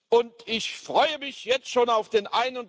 Und ich freue mich jetzt schon auf den